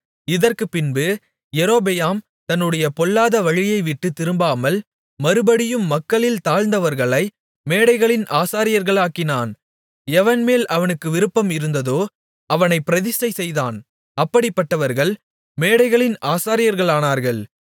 இதற்குப்பின்பு யெரொபெயாம் தன்னுடைய பொல்லாத வழியைவிட்டுத் திரும்பாமல் மறுபடியும் மக்களில் தாழ்ந்தவர்களை மேடைகளின் ஆசாரியர்களாக்கினான் எவன்மேல் அவனுக்கு விருப்பம் இருந்ததோ அவனைப் பிரதிஷ்டை செய்தான் அப்படிப்பட்டவர்கள் மேடைகளின் ஆசாரியர்களானார்கள்